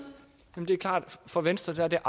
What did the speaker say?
for venstre at